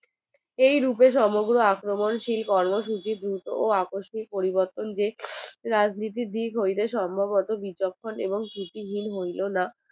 এই রূপে সমগ্র আক্রমণশীল কর্মসূচির দ্রুত ও আকস্মিক পরিবর্তন যে রাজনীতির দিক হইতে সম্ভবত বিচক্ষণ এবং ভিতিহিন হইলো না